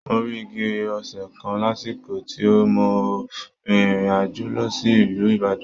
Mo rí igi oṣẹ̀ kan lásìkò tí mo rin ìrìn àjò lọ sí ìlú Ìbàdàn.